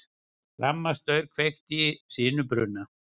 Rafmagnsstaur kveikti sinubruna